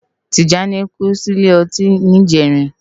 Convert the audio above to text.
Tijani kú si ilé òtín nijèrín